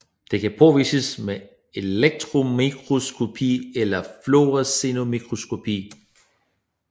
De kan påvises ved elektronmikroskopi eller fluorescensmikroskopi